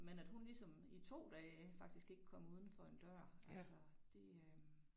Men at hun ligesom i 2 dage faktisk ikke kom udenfor en dør altså det øh